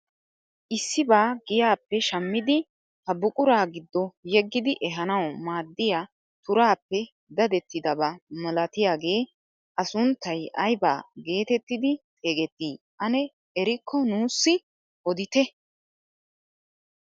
Issibaa giyaappe shammidi ha buquraa giddo yeggidi ehanawu maaddiyaa turaappe dadettidaba milatiyaagee a sunttay aybaa getettidi xeegettii ane erikko nuusi odite?